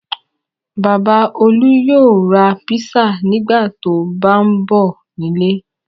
Bàbá Olú yóò ra pizza nígbà tó bá ń bọ̀ nílé.